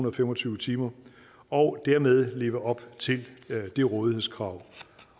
og fem og tyve timer og dermed leve op til det rådighedskrav